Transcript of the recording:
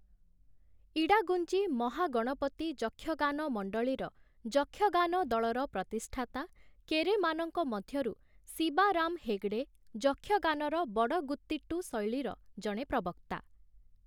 ଇଡାଗୁଞ୍ଜି ମହାଗଣପତି ଯକ୍ଷଗାନ ମଣ୍ଡଳୀର 'ଯକ୍ଷଗାନ ଦଳର' ପ୍ରତିଷ୍ଠାତା, କେରେମାନଙ୍କ ମଧ୍ୟରୁ 'ଶିବାରାମ ହେଗଡ଼େ' ଯକ୍ଷଗାନର ବଡଗୁତିଟ୍ଟୁ ଶୈଳୀର ଜଣେ ପ୍ରବକ୍ତା ।